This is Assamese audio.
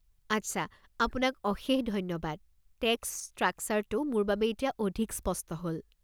আট্চা, আপোনাক অশেষ ধন্যবাদ, টেক্স ষ্ট্ৰাকছাৰটো মোৰ বাবে এতিয়া অধিক স্পষ্ট হ'ল।